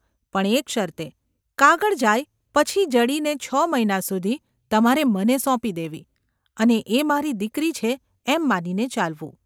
પણ એક શરતે. કાગળ જાય પછી જડીને છ મહિના સુધી તમારે મને સોંપી દેવી અને એ મારી દીકરી છે એમ માનીને ચાલવું.